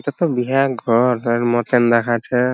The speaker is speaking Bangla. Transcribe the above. এটা তো বিরাট ঘর এর মতোন দেখাছে।